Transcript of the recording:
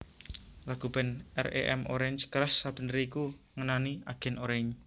Lagu band R E M Orange Crush sabeneré iku ngenani Agen Oranye